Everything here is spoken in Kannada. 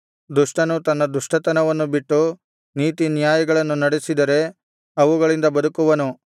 ದುಷ್ಟನು ತನ್ನ ದುಷ್ಟತನವನ್ನು ಬಿಟ್ಟು ನೀತಿನ್ಯಾಯಗಳನ್ನು ನಡೆಸಿದರೆ ಅವುಗಳಿಂದ ಬದುಕುವನು